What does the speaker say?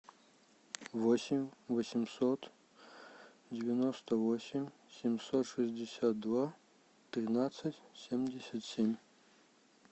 восемь восемьсот девяносто восемь семьсот шестьдесят два тринадцать семьдесят семь